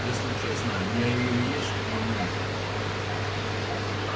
если честно я её есть не умею